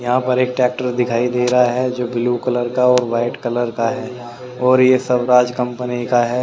यहां पर एक टैक्टर दिखाई दे रहा है जो ब्लू कलर का और वाइट कलर का है और ये स्वराज कंपनी का है।